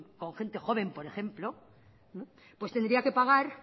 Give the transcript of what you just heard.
gente joven por ejemploq pues tendría que pagar